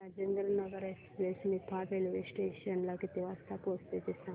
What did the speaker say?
Rajendranagar express Niphad railway station ला किती वाजता पोहचते ते सांग